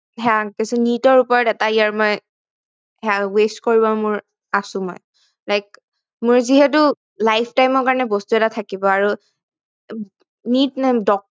NEET ৰ ওপৰত এটা year মই waste কৰিবৰ মোৰ আছো মই like মোৰ যিহেতু life time ৰ কাৰনে বস্তু এটা থাকিব আৰু NEET